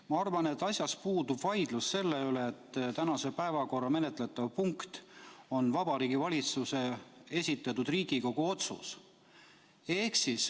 Ma arvan, et puudub vaidlus selle üle, et tänase päevakorra menetletav punkt on Vabariigi Valitsuse esitatud Riigikogu otsus.